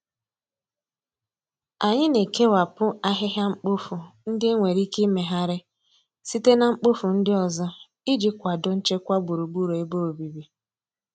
Anyị na-ekewapụta ahịhịa mkpofu ndị e nwere ike imegharị site na mkpofu ndị ọzọ iji kwado nchekwa gburugburu ebe obibi